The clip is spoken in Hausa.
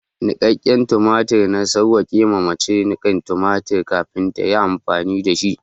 Niƙaƙƙen tumatiri, na sawwake ma mace niƙan tumatir kafin ta yi amfani da shi.